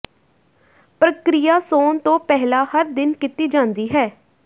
ਪ੍ਰਕਿਰਿਆ ਸੌਣ ਤੋਂ ਪਹਿਲਾਂ ਹਰ ਦਿਨ ਕੀਤੀ ਜਾਂਦੀ ਹੈ